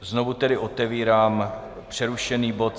Znovu tedy otevírám přerušený bod